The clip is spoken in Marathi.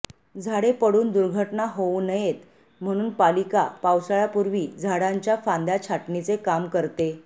झाडे पडून दुर्घटना होऊ नयेत म्हणून पालिका पावसाळ्यापूर्वी झाडांच्या फांद्या छाटणीचे काम करते